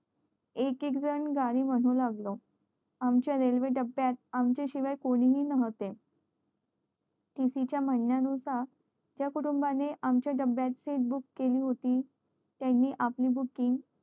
एक एक जण गाणी म्हणू लागलं आमच्या रेल्वे च्या डब्यात आमच्या शिवाय कोणी हि नव्हते tc च्या म्हण्या नुसार ज्या कुटूंबाने आमच्या आमच्या डब्यात seat book केली होती त्यानी आपली booking